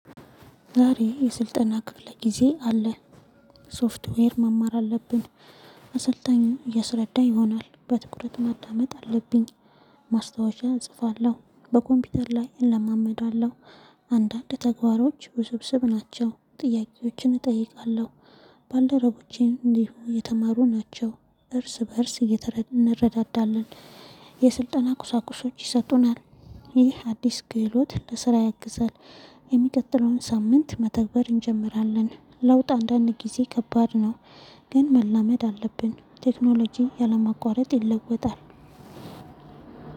ዛሬ የስልጠና ክፍለ ጊዜ አለ። ሶፍትዌር መማር አለብን፣ አሰልጣኝ እያስረዳ ይሆናል። በትኩረት ማዳመጥ አለብኝ። ማስታወሻ እጽፋለሁ፣ በኮምፒውተር ላይ እለማመዳለሁ። አንዳንድ ተግባሮች ውስብስብ ናቸው። ጥያቄዎችን እጠይቃለሁ። ባልደረቦቼም እንዲሁ የተማሩ ናቸው፣ እርስ በእርስ እንረዳዳለን። የስልጠና ቁሳቁሶች ይሰጡናል፣ ይህ አዲስ ክህሎት ለስራ ያግዛል፣ የሚቀጥለውን ሳምንት መተግበር እንጀምራለን። ለውጥ አንዳንድ ጊዜ ከባድ ነው። ግን መላመድ አለብን፣ ቴክኖሎጂ ያለማቋረጥ ይለወጣል።